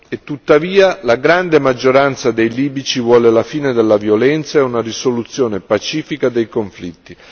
E tuttavia la grande maggioranza dei libici vuole la fine della violenza e una risoluzione pacifica dei conflitti.